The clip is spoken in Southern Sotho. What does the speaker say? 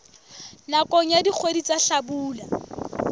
nakong ya dikgwedi tsa hlabula